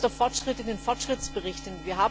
Wo ist der Fortschritt in den Fortschrittsberichten?